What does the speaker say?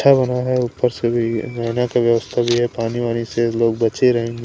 अच्छा बना है ऊपर से भी रहना का व्यवस्था भी है पानी वानी से लोग बचे रहेंगे।